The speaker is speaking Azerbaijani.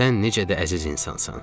Sən necə də əziz insansan.